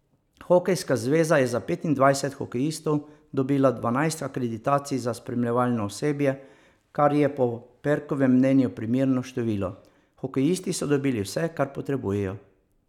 Hokejska zveza je za petindvajset hokejistov dobila dvanajst akreditacij za spremljevalno osebje, kar je po Perkovem mnenju primerno število: 'Hokejisti so dobili vse, kar potrebujejo.